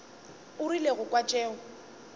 o rile go kwa tšeo